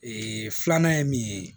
Ee filanan ye min ye